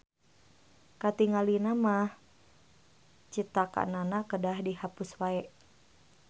Katingalina mah citakannana kedah dihapus wae.